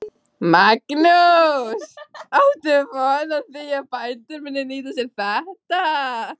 Magnús: Áttu von á því að bændur muni nýta sér þetta?